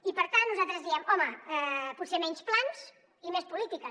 i per tant nosaltres diem home potser menys plans i més polítiques